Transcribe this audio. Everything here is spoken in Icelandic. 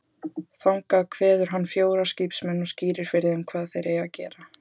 Þangað kveður hann fjóra skipsmenn og skýrir fyrir þeim hvað þeir eigi að gera.